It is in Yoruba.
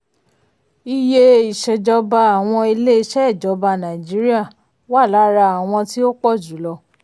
iye iṣèjọba àwọn ilé-iṣẹ́ ìjọba nàìjíríà wà lára àwọn tí ó pọ̀ jùlọ.